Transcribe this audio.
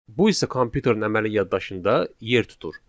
Bu isə kompüterin əməli yaddaşında yer tutur.